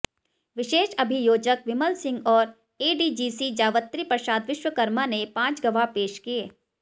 विशेष अभियोजक विमल सिंह और एडीजीसी जावत्री प्रसाद विश्वकर्मा ने पांच गवाह पेश किए